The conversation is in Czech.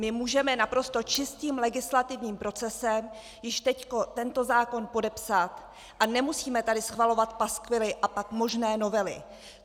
My můžeme naprosto čistým legislativním procesem již teď tento zákon podepsat a nemusíme tady schvalovat paskvily a pak možné novely.